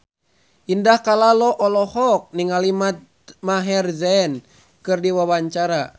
Indah Kalalo olohok ningali Maher Zein keur diwawancara